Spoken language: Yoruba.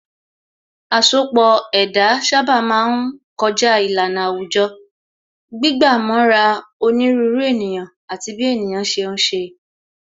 Asọpọ̀ ẹ̀dá sábà máa ń kọjá ìlànà àwùjọ, gbígbà mọ́ra onírúurú ènìyàn àti bí ènìyàn ṣe ń ṣe